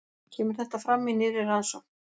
Kemur þetta fram í nýrri rannsókn